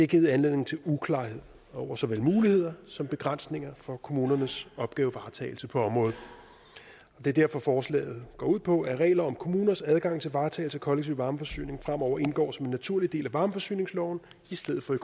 givet anledning til uklarhed over såvel muligheder som begrænsninger for kommunernes opgavevaretagelse på området det er derfor forslaget går ud på at regler om kommuners adgang til varetagelse af kollektiv varmeforsyning fremover indgår som en naturlig del af varmeforsyningsloven i stedet for af